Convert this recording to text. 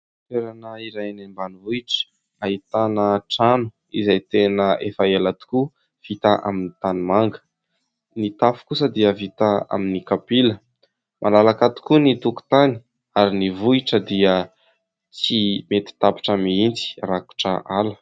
Toerana iray any ambanivohitra ahitana trano izay tena efa ela tokoa vita amin'ny tanimanga, ny tafo kosa dia vita amin'ny kapila. Malalaka tokoa ny tokontany ary ny vohitra dia tsy mety tapitra mihitsy, rakotra ala.